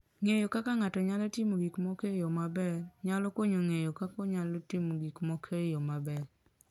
Ng'eyo kaka ng'ato nyalo timo gik moko e yo maber, nyalo konye ng'eyo kaka onyalo timo gik moko e yo maber.